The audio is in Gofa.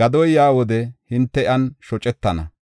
Gadoy yaa wode hinte iyan shocetana.